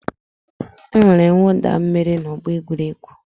E nwere mwụda mmiri n'ọgbọ egwuregwu.